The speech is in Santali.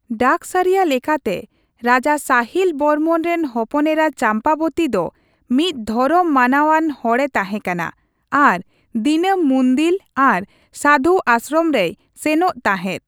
ᱰᱟᱠᱥᱟᱹᱨᱤᱭᱟᱹ ᱞᱮᱠᱟᱛᱮ, ᱨᱟᱡᱟ ᱥᱟᱦᱤᱞ ᱵᱚᱨᱢᱚᱱ ᱨᱮᱱ ᱦᱚᱯᱚᱱ ᱮᱨᱟ ᱪᱟᱢᱯᱟᱵᱚᱛᱤ ᱫᱚ ᱢᱤᱫ ᱫᱷᱚᱨᱚᱢ ᱢᱟᱱᱟᱣᱟᱱ ᱦᱚᱲᱮ ᱛᱟᱦᱮᱸᱠᱟᱱᱟ ᱟᱨ ᱫᱤᱱᱟᱹᱢ ᱢᱩᱱᱫᱤᱞ ᱟᱨ ᱥᱟᱹᱫᱷᱩ ᱟᱥᱥᱨᱚᱢ ᱨᱮᱭ ᱥᱮᱱᱚᱜ ᱛᱟᱦᱮᱸᱫ ᱾